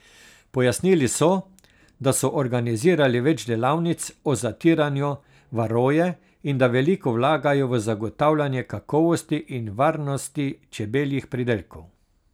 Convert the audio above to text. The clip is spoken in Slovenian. Pojasnili so, da so organizirali več delavnic o zatiranju varoje in da veliko vlagajo v zagotavljanje kakovosti in varnosti čebeljih pridelkov.